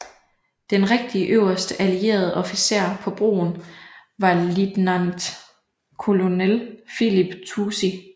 Den rigtige øverste allierede officer på broen var Lieutenant Colonel Philip Toosey